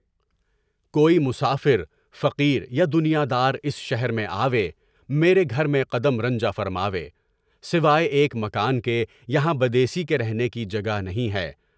کوئی مسافر، فقیر یا دنیا دار اس شہری میں آوے، میرے گھر میں قدم رنجہ فرماوے، سوائے ایک مکان کے، یہاں بدیسی کے رہنے کی جگہ نہیں ہے۔